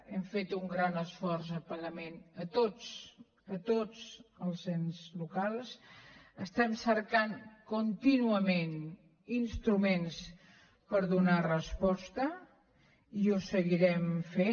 hem fet un gran esforç de pagament a tots a tots els ens locals estem cercant contínuament instruments per donar hi resposta i ho seguirem fent